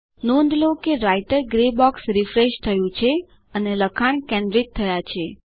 નોંધ લો કે રાઈટર ગ્રે બોક્સ રીફ્રેશ થયું છે અને લખાણ કેન્દ્રિત થયા છે